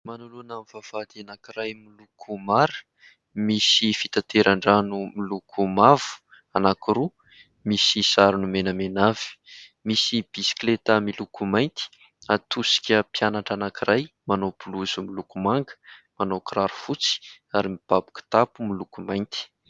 Manoloana amin'ny vavahady anankiray miloko mara, misy fitateran-drano miloko mavo anankiroa, misy sarony menamena avy, misy bisikileta miloko mainty ; atosika mpianatra anankiray manao bolozy miloko manga manao kiraro fotsy ary mipababy kitapo miloko mainty.